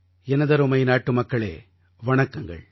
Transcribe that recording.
எனதருமை நாட்டுமக்களே வணக்கங்கள்